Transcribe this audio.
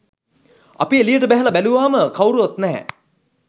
අපි එළියට බැහැල බැලූවම කවුරුවත් නැහැ.